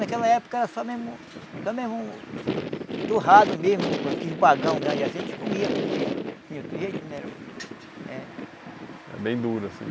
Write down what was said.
Naquela época era só mesmo só mesmo torrado mesmo, aquele bagão grande assim, a gente comia, porque não tinha outro jeito não era o... É. Era bem duro assim.